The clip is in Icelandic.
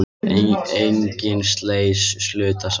Engin slys hlutust af